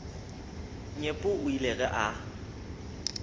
nyepo o ile ge a